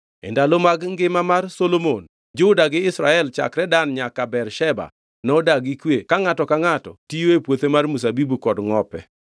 E ndalo mag ngima mar Solomon Juda gi Israel chakre Dan nyaka Bersheba nodak gi kwe ka ngʼato ka ngʼato tiyo e puothe mar mzabibu kod ngʼope.